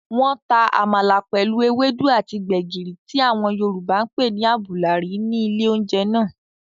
Wọ́n ta àmàlà pẹ̀lú ewédú àti gbẹ̀gìrì tí àwọn yorùbá ǹ pé ní àbùlà rí ní ilé oúnjẹ náà